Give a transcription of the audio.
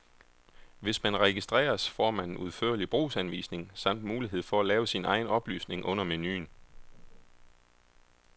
Hvis man registreres, får man en udførlig brugsanvisning samt mulighed for at lave sin egen oplysning under menuen.